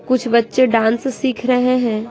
कुछ बच्चे डांस सीख रहे हैं।